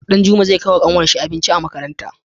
Danjuma zai kai wa kanwar shi abinci makaranta